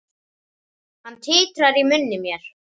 Hún titrar í munni mér.